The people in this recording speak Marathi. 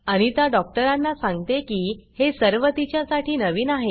अनिता डॉक्टरांना सांगते की हे सर्व तिच्या साठी नवीन आहे